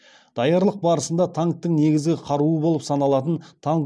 даярлық барысында танктің негізгі қаруы болып саналатын танк